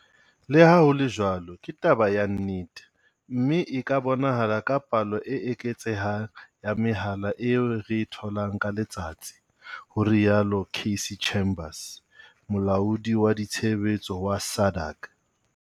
Le ha ho le jwalo, ke taba ya nnete, mme e ka bonahala ka palo e eketsehang ya mehala eo re e tholang ka letsatsi, ho rialo Cassey Chambers, Molaodi wa ditshebetso wa SADAG.